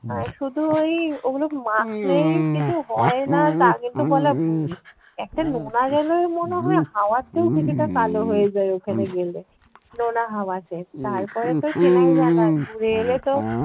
আহ শুধু ওই ওগুলো মাখলেই কিছু হয় না তা কিন্তু বলা ভুল। একটা নোনা জলের মনে হয় হাওয়াতেও কিছুটা কালো হয়ে যায় ওখানে গেলে নোনা হাওয়াতে। তারপরে তো চেনাই যায় না ঘুরে এলে তো